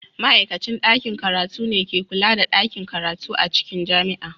Ma'aikacin ɗakin karatu ne ke kula da ɗakin karatu a cikin jami'a.